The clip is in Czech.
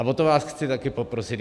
A o to vás chci také poprosit.